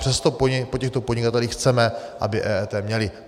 Přesto po těchto podnikatelích chceme, aby EET měli.